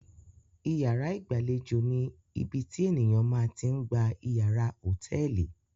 Ìyàrá ìgbàlejò ni ibi tí ènìyàn ma ti ń gba ìyàrá hòtẹ́ẹ́lì.